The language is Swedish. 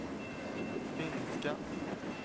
finska